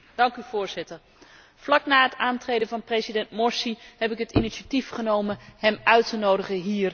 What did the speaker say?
Vlak na het aantreden van president Morsi heb ik het initiatief genomen hem uit te nodigen hier in deze zaal.